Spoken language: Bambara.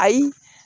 Ayi